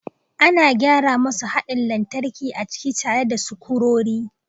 Ana gyara masu haɗin lantarki a ciki tare da sukurori